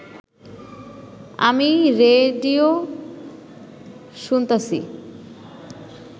আমি রে রেডিও শুনতাছি